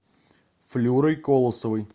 флюрой колосовой